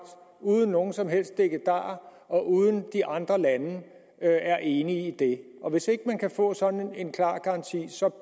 uden nogen som helst dikkedarer og uden at de andre lande er enige i det og hvis ikke man kan få sådan en klar garanti